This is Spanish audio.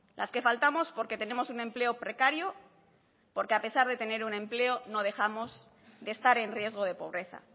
las que faltamos porque tenemos un empleo precario porque a pesar de tener un empleo no dejamos de estar en riesgo de pobreza